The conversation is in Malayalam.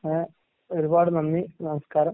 ആഹ് ഒരുപാട് നന്ദി നമസ്കാരം.